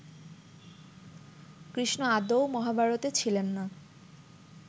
কৃষ্ণ আদৌ মহাভারতে ছিলেন না